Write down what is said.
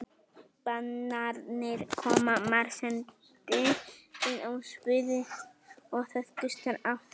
Bananarnir koma marserndi inn á sviðið og það gustar af þeim.